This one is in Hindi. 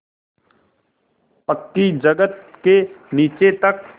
पक्की जगत के नीचे तक